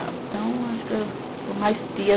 Então, acho que eu sou mais tia.